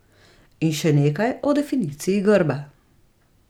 In še nekaj o definiciji grba.